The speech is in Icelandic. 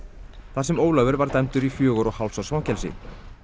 þar sem Ólafur var dæmdur í fjögurra og hálfs árs fangelsi